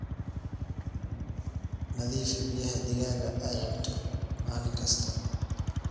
Nadiifi biyaha digaaga aay cabto maalin kasta.